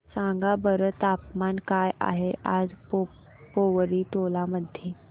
सांगा बरं तापमान काय आहे आज पोवरी टोला मध्ये